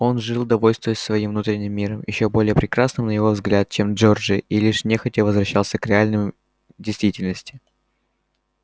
он жил довольствуясь своим внутренним миром ещё более прекрасным на его взгляд чем джорджия и лишь нехотя возвращался к реальной действительности